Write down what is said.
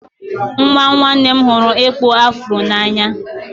Nwa nwanne m hụrụ ịkpụ afro n'anya.